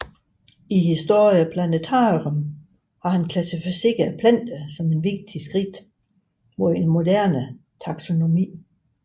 I Historia Plantarum klassificerede han planter som et vigtigt skridt mod en moderne taxonomi